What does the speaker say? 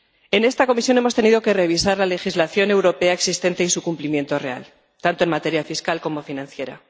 En esta comisión hemos tenido que revisar la legislación europea existente y su cumplimiento real, tanto en materia fiscal como financiera.